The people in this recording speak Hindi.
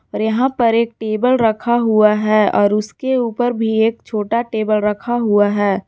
और यहां पर एक टेबल रखा हुआ है और उसके ऊपर भी एक छोटा टेबल रखा हुआ है।